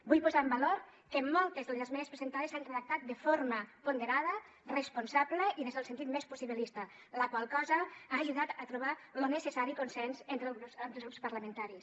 vull posar en valor que moltes de les esmenes presentades s’han redactat de forma ponderada responsable i des del sentit més possibilista la qual cosa ha ajudat a trobar lo necessari consens entre els grups parlamentaris